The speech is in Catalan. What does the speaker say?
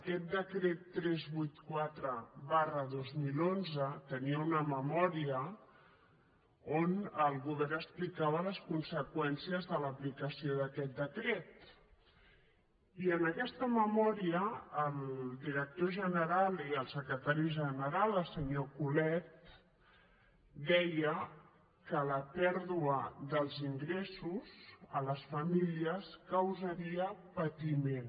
aquest decret tres cents i vuitanta quatre dos mil onze tenia una memòria on el govern explicava les conseqüències de l’aplicació d’aquest decret i en aquesta memòria el director general i el secretari general el senyor colet deien que la pèrdua dels ingressos a les famílies causaria patiment